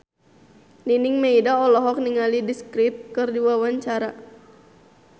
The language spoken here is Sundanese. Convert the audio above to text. Nining Meida olohok ningali The Script keur diwawancara